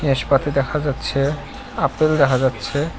নাশপাতি দেখা যাচ্ছে আপেল দেখা যাচ্ছে।